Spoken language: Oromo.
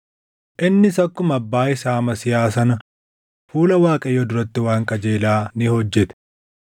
Innis akkuma abbaa isaa Amasiyaa sana fuula Waaqayyoo duratti waan qajeelaa ni hojjete.